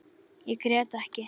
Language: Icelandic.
Ég grét ekki.